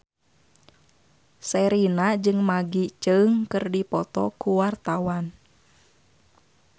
Sherina jeung Maggie Cheung keur dipoto ku wartawan